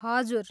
हजुर।